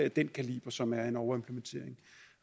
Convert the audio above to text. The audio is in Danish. af den kaliber som er en overimplementering